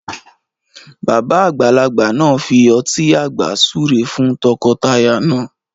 Bàbá àgbàlagbà náà fi ọtí àgbà súre fún t'ọkọ t'aya náà